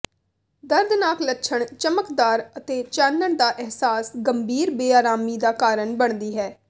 ਦਰਦਨਾਕ ਲੱਛਣ ਚਮਕਦਾਰ ਅਤੇ ਚਾਨਣ ਦਾ ਅਹਿਸਾਸ ਗੰਭੀਰ ਬੇਆਰਾਮੀ ਦਾ ਕਾਰਨ ਬਣਦੀ ਹੈ